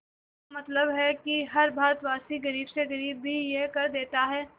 इसका मतलब है कि हर भारतवासी गरीब से गरीब भी यह कर देता है